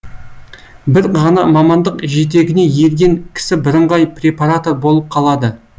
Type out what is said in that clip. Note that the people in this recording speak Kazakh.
бір ғана мамандық жетегіне ерген кісі бірыңғай препаратор болып қалады